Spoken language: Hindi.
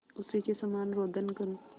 उसी के समान रोदन करूँ